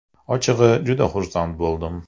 Ochig‘i, juda xursand bo‘ldim.